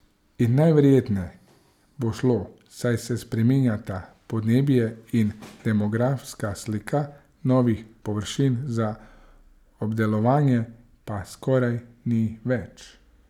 In najverjetneje bo šlo, saj se spreminjata podnebje in demografska slika, novih površin za obdelovanje pa skoraj ni več.